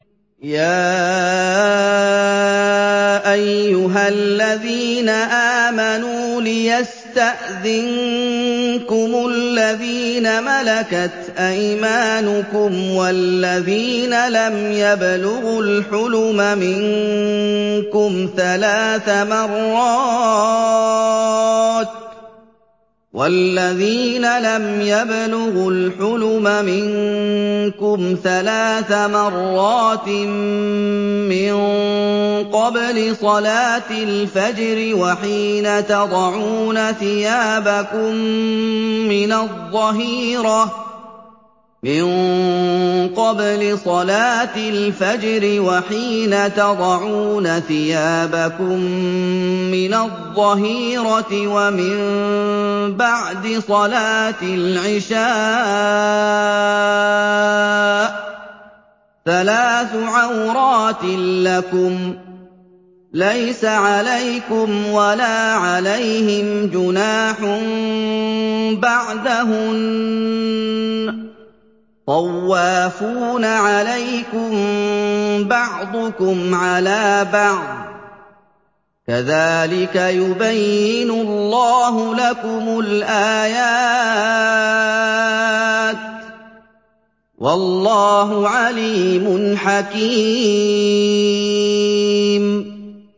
يَا أَيُّهَا الَّذِينَ آمَنُوا لِيَسْتَأْذِنكُمُ الَّذِينَ مَلَكَتْ أَيْمَانُكُمْ وَالَّذِينَ لَمْ يَبْلُغُوا الْحُلُمَ مِنكُمْ ثَلَاثَ مَرَّاتٍ ۚ مِّن قَبْلِ صَلَاةِ الْفَجْرِ وَحِينَ تَضَعُونَ ثِيَابَكُم مِّنَ الظَّهِيرَةِ وَمِن بَعْدِ صَلَاةِ الْعِشَاءِ ۚ ثَلَاثُ عَوْرَاتٍ لَّكُمْ ۚ لَيْسَ عَلَيْكُمْ وَلَا عَلَيْهِمْ جُنَاحٌ بَعْدَهُنَّ ۚ طَوَّافُونَ عَلَيْكُم بَعْضُكُمْ عَلَىٰ بَعْضٍ ۚ كَذَٰلِكَ يُبَيِّنُ اللَّهُ لَكُمُ الْآيَاتِ ۗ وَاللَّهُ عَلِيمٌ حَكِيمٌ